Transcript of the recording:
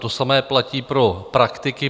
To samé platí pro praktiky.